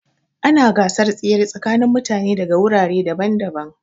Ana gasar tsere tsakanin mutane daga wurare daban-daban.